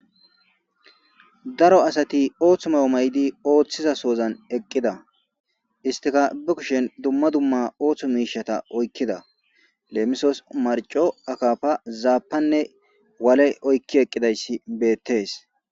Daro asati ooththu mayo may'di ooththiza soozan eqqida istikabe kushen dumma dumma ooththo miishata oykkida leemisoos marco akafa zaapanne waale oykki eqqidayssi beettees.